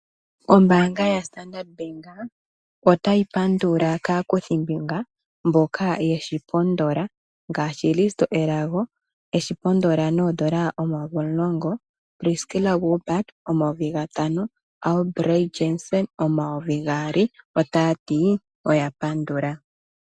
Ombaanga yaStandard bank otayi pandula kaakuthimbinga mboka yeshi pondola ngaashi Risto Elago eshi pondola noondola omayovi omulongo. Priskila Wilbard ,eshi pondola noondola omayovi gatano. Abelt Jansen omayovi gaali otaati ihe oya pandula.